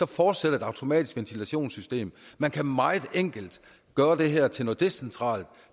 fortsætter det automatiske ventilationssystem man kan meget enkelt gøre det her til noget decentralt